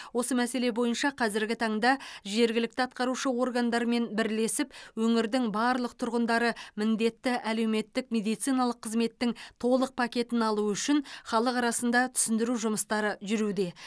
осы мәселе бойынша қазіргі таңда жергілікті атқарушы органдармен бірлесіп өңірдің барлық тұрғындары міндетті әлеуметтік медициналық қызметтің толық пакетін алуы үшін халық арасында түсіндіру жұмыстары жүруде